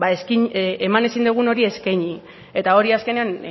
eman ezin dugun eskaini eta hori azkenean